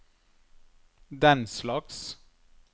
denslags